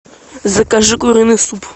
закажи куриный суп